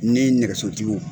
Ni nɛgɛso tigiw